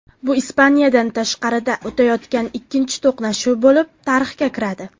Bu Ispaniyadan tashqarida o‘tayotgan ikkinchi to‘qnashuv bo‘lib tarixga kiradi.